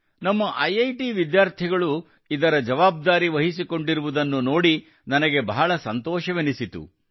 ನಮ್ಮ ಐಐಟಿ ವಿದ್ಯಾರ್ಥಿಗಳು ಕೂಡಾ ಇದರ ಜವಾಬ್ದಾರಿ ವಹಿಸಿಕೊಂಡಿರುವುದನ್ನು ನೋಡಿ ನನಗೆ ಬಹಳ ಸಂತೋಷವೆನಿಸಿತು